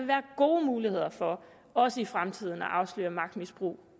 være gode muligheder for også i fremtiden at afsløre magtmisbrug